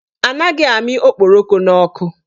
Anaghị amị okporoko n'ọkụ.